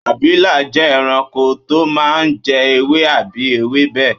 Abilà jẹ́ ẹranko tó máa ń jẹ ewé àbí ewébè